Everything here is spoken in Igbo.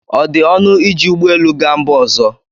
ọ dị ọnụ iji ụgbọ elu gaa mba ọzọ?